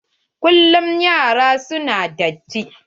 Kullum yaran su na da datti.